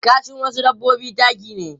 Kashin wasu dabbobi taki ne.